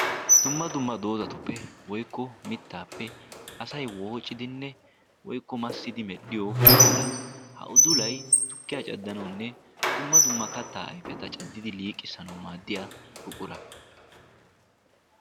Dumma dumma doodatuppe woikko mittaappe asay woocidinne woykko massidi medhdhiyo udula ha udulay tukkiyaa caddanaunne dumma dumma kattaa ayfeta caddidi liiqqissanau maaddiya buqura.